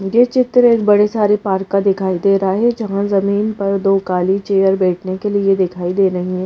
यह चित्र एक बड़े सारे पार्क का दिखाई दे रहा है जहाँ जमीन पर दो काली चेयर बैठने के लिए दिखाई दे रही है।